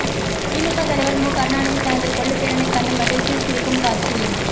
திமுக தலைவர் மு கருணாநிதி தனது கொள்ளுப் பேரனைக் கண்டு மகிழ்ச்சியில் சிரிக்கும் காட்சி